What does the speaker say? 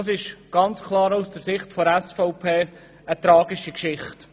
Dies ist aus der Sicht der SVP klar eine tragische Geschichte.